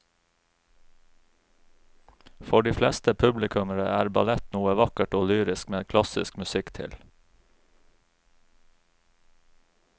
For de fleste publikummere er ballett noe vakkert og lyrisk med klassisk musikk til.